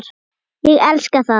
Ég elska það.